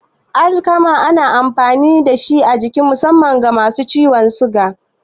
Alkama na da amfani a jiki musamman ga masu ciwon suga.